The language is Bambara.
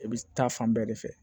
I bɛ taa fan bɛɛ de fɛ